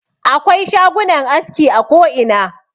Akwai shagunan aski a koina.